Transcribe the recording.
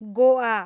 Goa